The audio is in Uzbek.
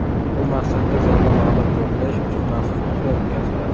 Bu maqsadda zalda mablag‘ to‘plash uchun maxsus qutilar o‘tkaziladi.